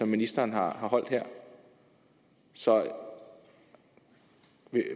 ministeren har holdt her så